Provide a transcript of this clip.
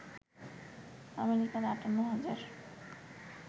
আমেরিকার ৫৮ হাজার